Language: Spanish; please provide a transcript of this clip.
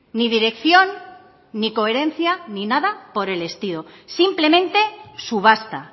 ni dirección ni coherencia ni nada por el estilo simplemente subasta